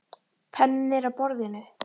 Penninn er á borðinu.